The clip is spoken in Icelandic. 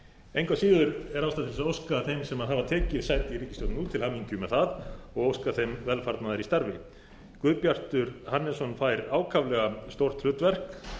engu að síður er ástæða til að óska þeim sem hafa tekið sæti í ríkisstjórninni til hamingju með það og óska þeim velfarnaðar í starfi guðbjartur hannesson fær ákaflega stórt hlutverk